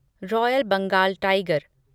royal Bengal tiger